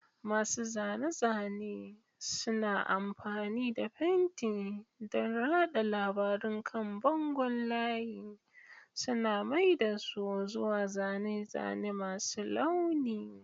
Masu zane-zane suna amfani da fenti don rada labarun kan bangon layi, suna mai da su zuwa zane-zane masu launi.